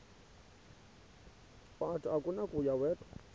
wathi akunakuya wedw